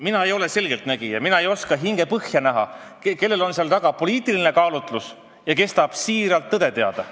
Mina ei ole selgeltnägija, mina ei oska kellegi hingepõhja näha ega tea, kellel on küsides taga poliitiline kaalutlus ja kes tahab siiralt tõde teada.